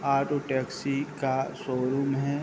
Auto taxi का showroom है।